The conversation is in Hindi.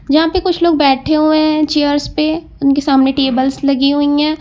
जहां पे कुछ लोग बैठे हुए हैं चेयर्स पे उनके सामने टेबल्स लगी हुई हैं।